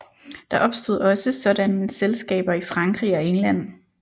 Der opstod også sådanne selskaber i Frankrig og England